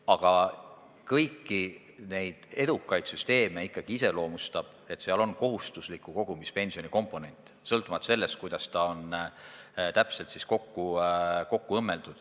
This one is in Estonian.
Aga kõiki edukaid süsteeme iseloomustab ikkagi see, et neis on olemas kohustusliku kogumispensioni komponent, sõltumata sellest, kuidas see ülejäänud süsteemiga täpselt kokku on õmmeldud.